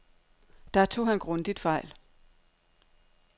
Der tog han grundigt fejl.